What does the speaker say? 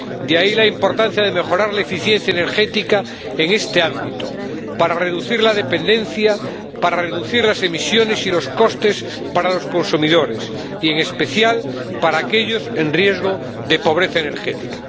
de ahí la importancia de mejorar la eficiencia energética en este ámbito, para reducir la dependencia, para reducir las emisiones y los costes para los consumidores y, en especial, para aquellos en riesgo de pobreza energética.